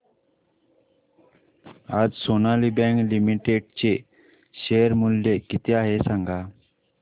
आज Sonali bank limited चे share मूल्य किती आहे सांगा